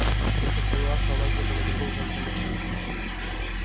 я так поняла что она где-то на другом конце москвы